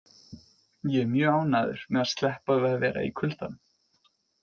Ég er mjög ánægður með að sleppa við að vera í kuldanum.